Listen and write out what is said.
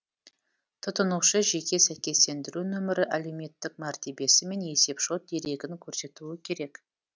тұтынушы жеке сәйкестендіру нөмірі әлеуметтік мәртебесі мен есеп шот дерегін көрсетуі керек